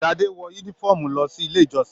Sadé wọ yúnífọ̀ọ́mù lọ sí ilé ìjọsìn.